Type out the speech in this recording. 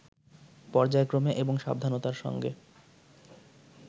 পর্যায়ক্রমে এবং সাবধানতার সঙ্গে